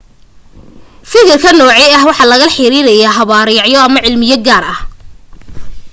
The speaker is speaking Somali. fikirkan noocan ah waxa lala xiriiraya habraacyo ama cilmiyo gaar ah